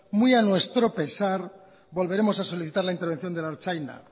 muy a nuestro pesar volveremos a solicitar la intervención de la ertzaintza